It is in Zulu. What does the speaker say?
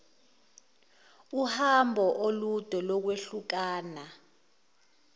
uhambo olude lokwehlukana